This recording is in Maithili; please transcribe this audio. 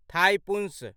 थाइपुसँ